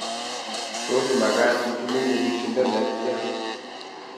Tos magaat atinye nyigisisindo netyaan.